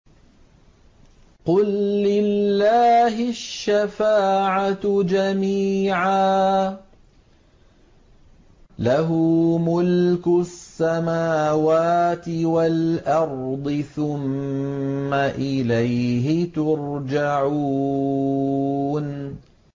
قُل لِّلَّهِ الشَّفَاعَةُ جَمِيعًا ۖ لَّهُ مُلْكُ السَّمَاوَاتِ وَالْأَرْضِ ۖ ثُمَّ إِلَيْهِ تُرْجَعُونَ